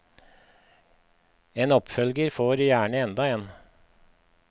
En oppfølger får gjerne enda en.